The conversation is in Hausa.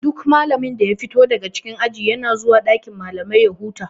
Duk malami da ya fito daga cikin aji yana zuwan dakin malamai ya huta.